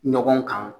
Ɲɔgɔn kan